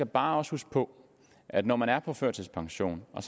bare huske på at når man er på førtidspension og